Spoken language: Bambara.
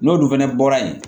N'olu fɛnɛ bɔra yen